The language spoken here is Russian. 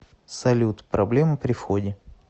салют проблемы при входе